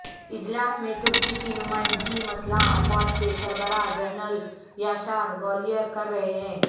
اجلاس میں ترکی کی نمائندگی مسلح افواج کے سربراہ جنرل یاشار گولیر کر رہے ہیں